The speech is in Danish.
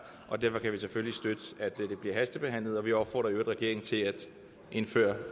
derfor kan vi selvfølgelig støtte at det bliver hastebehandlet og vi opfordrer i øvrigt regeringen til at indføre